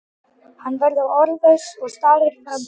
Hann verður orðlaus og starir fram fyrir sig.